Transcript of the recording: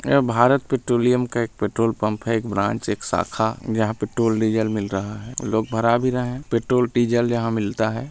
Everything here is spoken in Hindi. यह भारत पैट्रोलियम का एक पेट्रोल पंप है एक ब्रांच एक शाखा यहाँ पेट्रोल डीजल मिल रहा है लोग भारा भी रहे हैं पेट्रोल डीजल यहाँ मिलता है ।